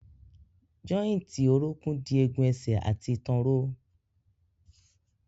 Jọ́ìntì orókún dì egun ẹsẹ̀ àti ìtàn ró.